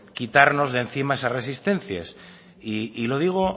quitarnos de encima esa resistencia y lo digo